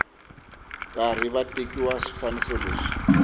karhi va tekiwa swifaniso leswi